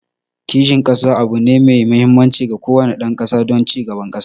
Kishin kasa abu ne mai mahimmanci ga kowane dan kasa don ci gaban kasa